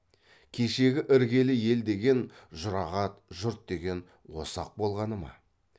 кешегі іргелі ел деген жұрағат жұрт деген осы ақ болғаны ма